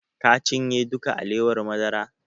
Ka cinye duka alewar madara?